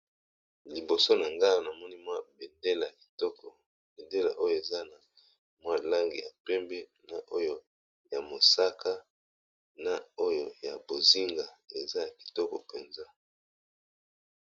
Liboso, na nga awa ! namoni mwa bendele ya kitoko ! bendele oyo eza na mwa langi ya pembe ! na oyo ya mosaka, na oyo ya , bozinga eza , ya kitoko mpenza.